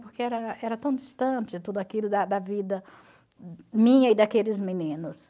Porque era era tão distante tudo aquilo da da vida minha e daqueles meninos.